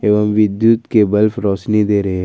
एवं विद्युत के बल्ब रोशनी दे रहे हैं।